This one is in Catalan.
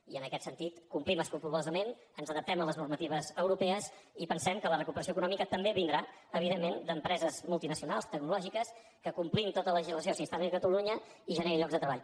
i en aquest sentit complim escrupolosament ens adaptem a les normatives europees i pensem que la recuperació econòmica també vindrà evidentment d’empreses multinacionals tecnològiques que complint tota la legislació s’instal·lin a catalunya i generin llocs de treball